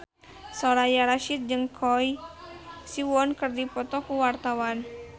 Soraya Rasyid jeung Choi Siwon keur dipoto ku wartawan